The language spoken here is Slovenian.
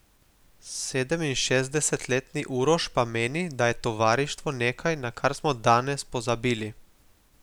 Sedeminšestdesetletni Uroš pa meni, da je tovarištvo nekaj, na kar smo danes pozabili.